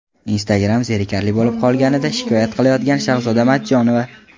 Instagram zerikarli bo‘lib qolganidan shikoyat qilayotgan Shahzoda Matchonova.